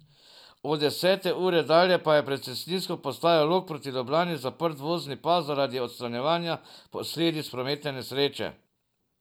Od desete ure dalje pa je pred cestninsko postajo Log proti Ljubljani zaprt vozni pas zaradi odstranjevanja posledic prometne nesreče.